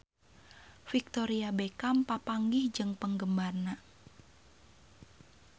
Victoria Beckham papanggih jeung penggemarna